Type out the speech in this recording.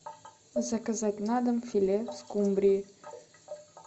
заказать на дом филе скумбрии